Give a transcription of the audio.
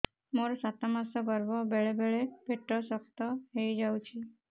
ମୋର ସାତ ମାସ ଗର୍ଭ ବେଳେ ବେଳେ ପେଟ ଶକ୍ତ ହେଇଯାଉଛି